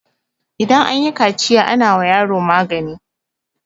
idan an yi kaciya ana wa yaro magani